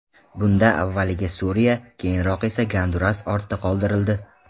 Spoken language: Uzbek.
Bunda avvaliga Suriya, keyinroq esa Gonduras ortda qoldirildi.